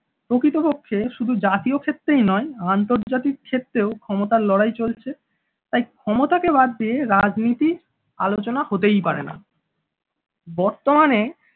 প্রকৃতপক্ষে শুধু জাতীয় ক্ষেত্রেই নয় আন্তর্জাতিক ক্ষেত্রেও ক্ষমতার লড়াই চলছে তাই ক্ষমতা কে বাদ দিয়ে রাজনীতির আলোচনা হতেই পারে না। বর্তমানে